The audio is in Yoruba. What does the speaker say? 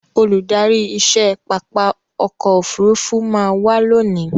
Olùdárí iṣẹ́ pápá ọkò òfurufú má a wá lónìí.